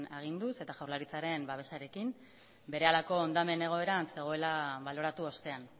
aginduz eta jaurlaritzaren babesarekin berehalako hondamen egoeran zegoela baloratu ostean